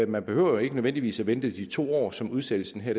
man behøver jo ikke nødvendigvis at vente de to år som udsættelsen her